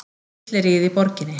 Fylleríið í borginni!